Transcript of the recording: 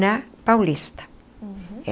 na Paulista. Uhum.